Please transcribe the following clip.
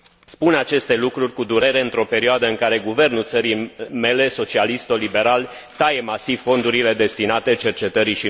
Spun aceste lucruri cu durere, într o perioadă în care guvernul țării mele, socialisto liberal, taie masiv fondurile destinate cercetării și inovării.